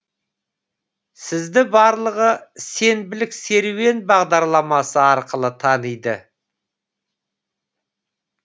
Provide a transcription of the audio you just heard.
сізді барлығы сенбілік серуен бағдарламасы арқылы таниды